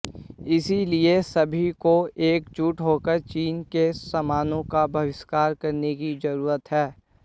इसलिए सभी को एकजुट होकर चीन के सामानों का बहिष्कार करने की जरूरत है